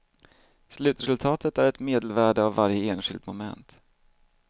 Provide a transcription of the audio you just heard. Slutresultatet är ett medelvärde av varje enskilt moment.